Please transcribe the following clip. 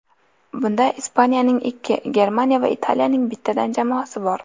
Bunda Ispaniyaning ikki, Germaniya va Italiyaning bittadan jamoasi bor.